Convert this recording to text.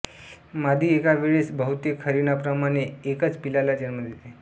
मादी एका वेळेस बहुतेक हरीणांप्रमाणे एकच पिल्लाला जन्म देते